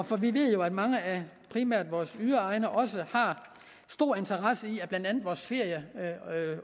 for vi ved jo at mange af primært vores yderegne også har stor interesse i at blandt andet vores ferie